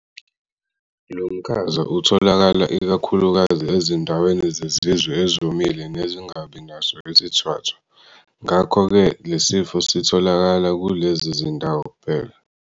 Lo mkhaza utholakala ikakhulukazi ezindaweni zezizwe ezomile nezingabi naso isithwathwa, ngakho-ke lesi sifo sitholakala kulezi zindawo kuphela.